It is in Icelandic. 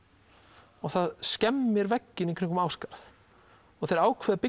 og það skemmir vegginn um Ásgarð og þeir ákveða að